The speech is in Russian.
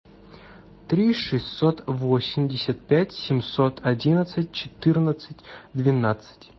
три шестьсот восемьдесят пять семьсот одиннадцать четырнадцать двенадцать